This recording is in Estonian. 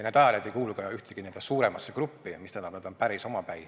Need ajalehed ei kuulu ka ühtegi suuremasse gruppi, mis tähendab, et nad on päris omapäi.